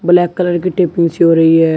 Black colour की taping सी हो रही है।